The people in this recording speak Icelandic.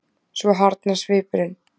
Svo harðnar svipurinn.